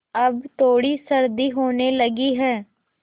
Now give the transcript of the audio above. अब थोड़ी सर्दी होने लगी है